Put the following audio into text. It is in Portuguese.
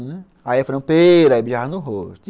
Aí eu falava, pera, beijava no rosto.